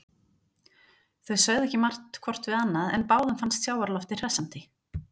Þau sögðu ekki margt hvort við annað en báðum fannst sjávarloftið hressandi.